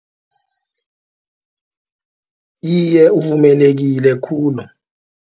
Iye, uvumelekile khulu.